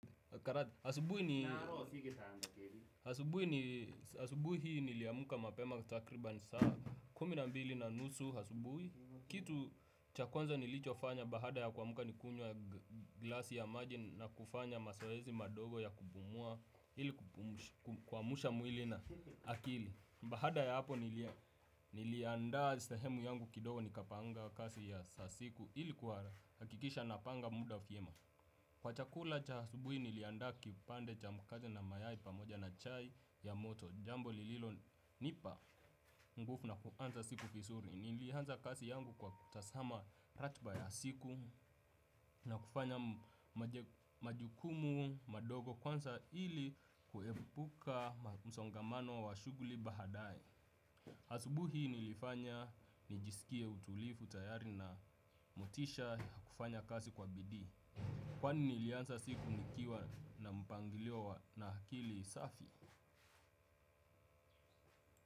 Asubuhi niliamuka mapema takribani saa kumi na mbili na nusu asubuhi. Kitu cha kwanza nilichofanya baada ya kumka nikunywa ya glasi ya maji. Na kufanya mazoezi madogo ya kupumua ili kuamsha mwili na akili. Baada ya hapo niliandaa sehemu yangu kidogo nikapanga kazi ya za siku ili kuhakikisha napanga muda vyema. Kwa chakula cha asubuhi niliandaa kipande cha mkate na mayai pamoja na chai ya moto. Jambo lililonipa nguvu na kuanza siku vizuri. Nilianza kazi yangu kwa kutazama ratiba ya siku. Na kufanya majukumu, madogo kwanza ili kuepuka msongamano wa shughuli baadaye asubuhi nilifanya nijisikie utulivu tayari na motisha kufanya kazi kwa bidii. Kwani nilianza siku nikiwa na mpangilio wa na akili safi.